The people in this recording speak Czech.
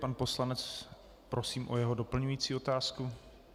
Pan poslanec, prosím o jeho doplňující otázku.